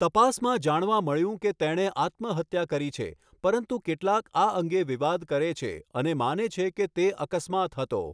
તપાસમાં જાણવા મળ્યું કે તેણે આત્મહત્યા કરી છે, પરંતુ કેટલાક આ અંગે વિવાદ કરે છે અને માને છે કે તે અકસ્માત હતો.